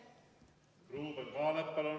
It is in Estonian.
Ruuben Kaalep, palun!